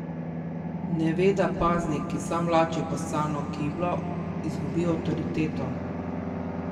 Ne ve, da paznik, ki sam vlači poscano kiblo, izgubi avtoriteto.